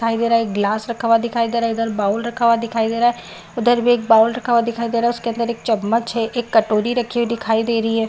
दिखाई दे रहा है एक ग्लास रखा हुआ दिखाई दे रहा इधर बोउल रखा हुआ दिखाई दे रहा है उधर भी एक बोउल रखा हुआ दिखाई दे रहा उसके अंदर एक चम्मच है एक कटोरी रखी हुई दिखाई दे रही है ।